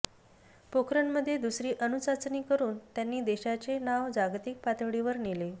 पोखरणमध्ये दुसरी अणुचाचणी करून त्यांनी देशाचे नाव जागतिक पातळीवर नेले